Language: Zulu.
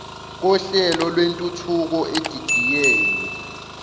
kohlelo lwentuthuko edidiyelwe